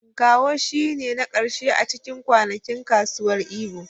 Nkwo shine na karshe a cikin kwanakin kasuwar Igbo.